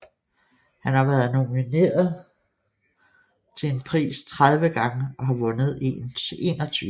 Han har været nomineret til en pris 30 gange og har vundet en 21 gange